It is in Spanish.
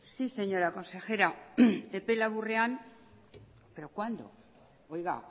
sí señora consejera epe laburrean pero cuándo oiga